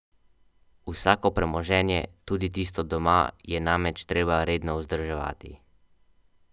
Vsako premoženje, tudi tisto doma, je namreč treba redno vzdrževati.